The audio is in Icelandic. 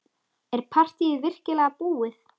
Er partýið virkilega búið?